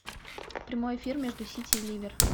прямой эфир между сити и ливер